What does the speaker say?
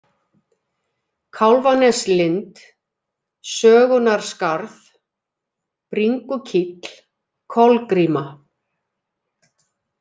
Kálfaneslind, Sögunarskarð, Bringukíll, Kolgríma